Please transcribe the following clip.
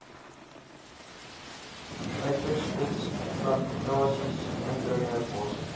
uiterstes plantasies indringerbosse